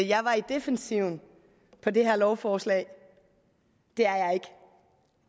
jeg var i defensiven på det her lovforslag det er